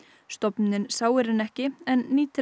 stofnunin sáir henni ekki en nýtir